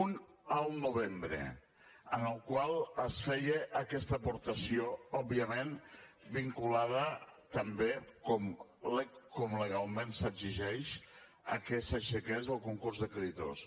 un al novembre en el qual es feia aquesta aportació òbviament vinculada també com legalment s’exigeix a que s’aixequés el concurs de creditors